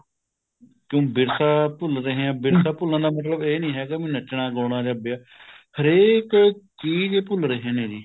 ਕਿਉਂ ਵਿਰਸਾ ਭੁੱਲ ਰਹੇ ਹਾਂ ਆਪਾਂ ਵਿਰਸਾ ਭੁੱਲਣ ਦਾ ਮਤਲਬ ਇਹ ਨਹੀਂ ਹੈਗਾ ਵੀ ਨੱਚਣਾ ਗਾਣਾ ਜਾਂ ਵਿਆਹ ਹਰੇਕ ਚੀਜ਼ ਭੁੱਲ ਰਹੇ ਨੇ ਜੀ